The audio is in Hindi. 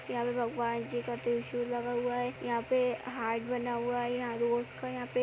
यहाँ पे भगवान जी का त्रिशूल लगा हुआ है। यहाँ पे हार्ट बना हुआ है। यहाँं रोज़ का यहाँं पे --